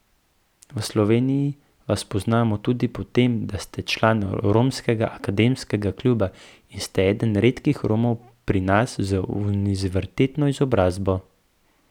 V Sloveniji vas poznamo tudi po tem, da ste član Romskega akademskega kluba in ste eden redkih Romov pri nas z univerzitetno izobrazbo.